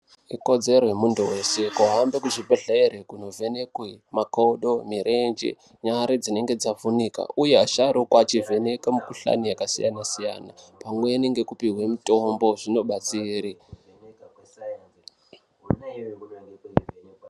Ikodzero yemuntu weshe kuhambe kuzvibhedhlera kunovhenekwe makodo, mirenje, nyare dzinenge dzavhunika. Uye asharukwa echivheneke mukuhlani yakasiyana-siyana pamweni ngekupihwe mitombo zvinodatsire.